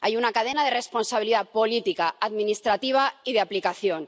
Hay una cadena de responsabilidad política, administrativa y de aplicación.